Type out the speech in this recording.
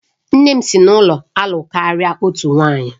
Nne m si n'ụlọ na-alụ karịa otu nwanyị